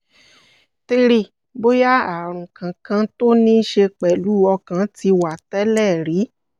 three bóyá ààrùn kankan tó níí ṣe pẹ̀lú ọkàn ti wá tẹ́lẹ̀ rí